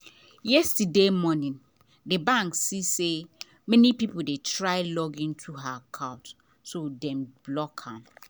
yesterday morning the bank see say many people dey try log into her account so dem block am.